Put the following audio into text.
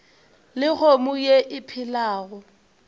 le kgomo ye e phelago